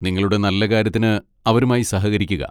നിങ്ങളുടെ നല്ലകാര്യത്തിന് അവരുമായി സഹകരിക്കുക.